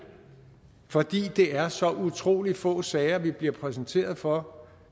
fordi det er så utrolig få sager vi bliver præsenteret for